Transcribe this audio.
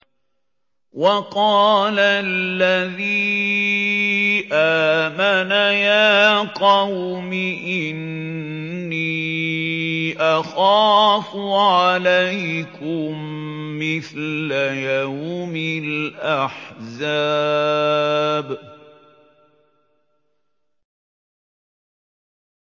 وَقَالَ الَّذِي آمَنَ يَا قَوْمِ إِنِّي أَخَافُ عَلَيْكُم مِّثْلَ يَوْمِ الْأَحْزَابِ